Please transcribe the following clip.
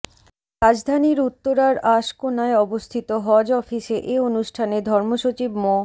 রাজধানীর উত্তরার আশকোনায় অবস্থিত হজ অফিসে এ অনুষ্ঠানে ধর্মসচিব মো